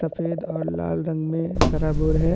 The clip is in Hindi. सफ़ेद और लाल रंग में सराबोर है।